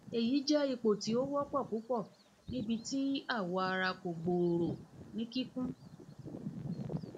eyi jẹ ipo ti o wọpọ pupọ nibiti awọ ara ko gbooro ni kikun